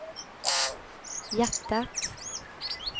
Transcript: hjärtat